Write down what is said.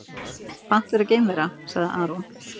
Pant vera geimvera, sagði Aron.